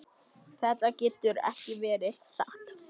Þetta getur ekki verið satt.